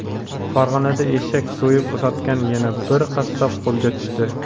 Farg‘onada eshak so‘yib sotgan yana bir qassob qo‘lga tushdi.